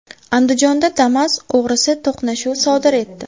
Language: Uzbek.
Andijonda Damas og‘risi to‘qnashuv sodir etdi.